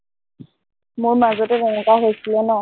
মোৰ মাজতে তেনেকুৱা হৈছিলে ন